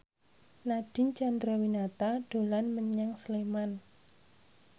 Nadine Chandrawinata dolan menyang Sleman